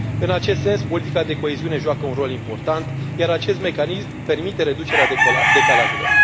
În acest sens, politica de coeziune joacă un rol important, iar acest mecanism permite reducerea decalajelor.